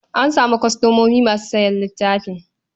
An samu kwastomomi masu sayan littafin.